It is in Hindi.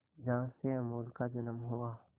जहां से अमूल का जन्म हुआ